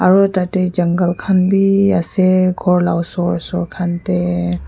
aru tatey jungle khan bi ase ghor la osor osor khan dey.